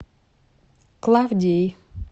клавдией